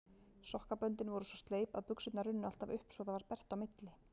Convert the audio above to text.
Sokkaböndin voru svo sleip að buxurnar runnu alltaf upp svo það varð bert á milli.